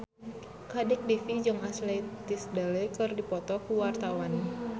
Kadek Devi jeung Ashley Tisdale keur dipoto ku wartawan